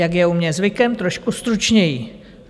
Jak je u mě zvykem, trošku stručněji.